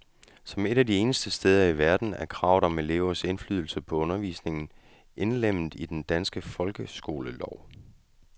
Som et af de eneste steder i verden er kravet om elevers indflydelse på undervisningen indlemmet i den danske folkeskolelov.